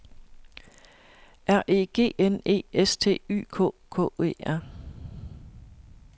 R E G N E S T Y K K E R